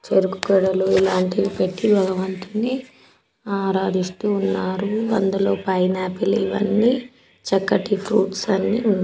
చెరుకు గడలు ఇలాంటివి పెట్టి భగవంతుడ్ని ఆరదిస్తు ఉన్నారు అందులో పైన్ఆపిల్ ఇవి అన్ని చక్కటి ఫ్రూట్స్ అన్ని ఉన్న --